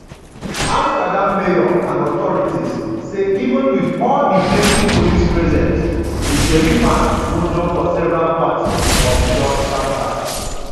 amsterdam mayor and authorities say even wit all di plenty police presence israeli fans wunjure for several parts of di dutch capital.